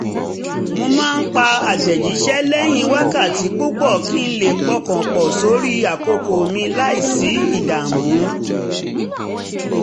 mo máa ń pa àtẹ̀jíṣẹ́ lẹ́yìn wákàtí púpọ̀ kí n lè pọkàn pọ̀ sórí àkókò mi láìsí ìdààmú